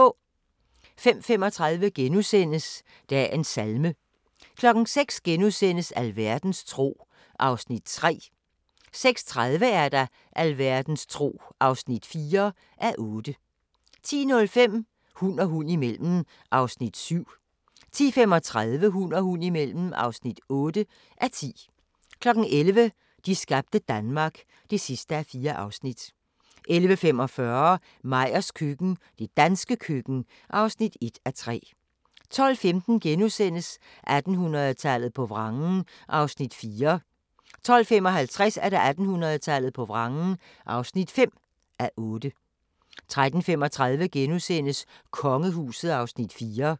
05:35: Dagens salme * 06:00: Alverdens tro (3:8)* 06:30: Alverdens tro (4:8) 10:05: Hund og hund imellem (7:10) 10:35: Hund og hund imellem (8:10) 11:00: De skabte Danmark (4:4) 11:45: Meyers køkken – det danske køkken (1:3) 12:15: 1800-tallet på vrangen (4:8)* 12:55: 1800-tallet på vrangen (5:8) 13:35: Kongehuset (Afs. 4)*